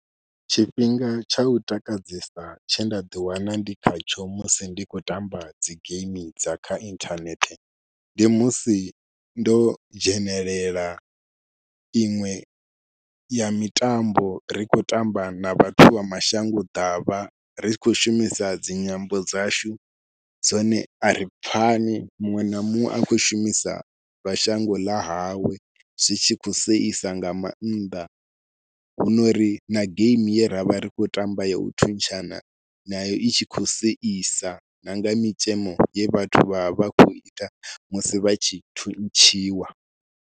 Tshifhinga tsha u takadzesa tshe nda ḓiwana ndi khatsho musi ndi khou tamba dzi game dza kha inthanethe ndi musi ndo dzhenelela iṅwe ya mitambo ri khou tamba na vhathu vha mashango ḓavha ri tshi khou shumisa dzi nyambo dzashu dzone a ri pfhani, muṅwe na muṅwe a khou shumisa dza shango ḽa hawe zwi tshi kho seisa nga maanḓa. Hu no ri na game ye ra vha ri khou tamba ya u thuntshana nayo i tshi khou seisa na nga mitzhemo ye vhathu vha vha khou ita musi vha tshi thuntshiwa.